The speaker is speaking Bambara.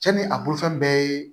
Cɛ ni a bolo fɛn bɛɛ ye